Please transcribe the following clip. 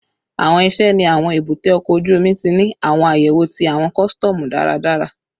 Awọn iṣẹ ni awọn ebute oko oju omi ti ni awọn ayewo ti awọn kọsitọmu daradara